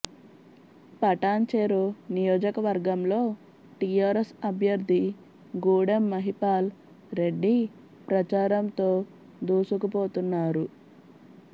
పటాన్ చెరు నియోజకవర్గంలో టీఆర్ఎస్ అభ్యర్థి గూడెం మహిపాల్ రెడ్డి ప్రచారంతో దూసుకుపోతున్నారు